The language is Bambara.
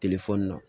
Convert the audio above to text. telefɔni na